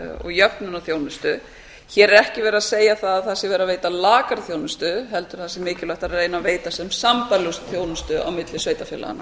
jöfnunar þjónustu hér er ekki verið að segja að það sé verið að veita lakari þjónustu heldur að það sé mikilvægt að reyna að veita sem sambærilegasta þjónustu á milli sveitarfélaganna